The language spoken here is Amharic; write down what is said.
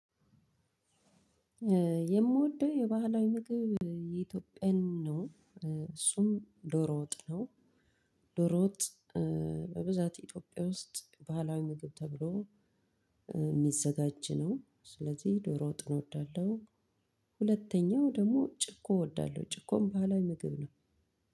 የምወደው የባህላዊ ምግብ የኢትዮጵያን ነው እሱም ዶሮ ወጥ ነው። ዶሮ ወጥ በብዛት ኢትዮጵያ ውስጥ ባህላዊ ምግብ ተብሎ የሚዘጋጅ ነው። ስለዚህ ዶሮ ወጥን እወዳለሁ። ሁለተኛው ደግሞ ጭኮ እወዳለሁ ጭኮም ባህላዊ ምግብ ነው።